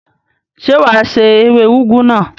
Ṣé wà á se ewé úgú náà?